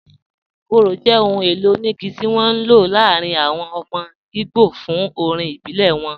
Ikoro jẹ́ ọ̀hùn èlò oníìgí tí wọn n ló láàrín àwọn ọmọ Ìgbò fún orín ìbílẹ̀ wọn